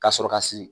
Ka sɔrɔ ka siri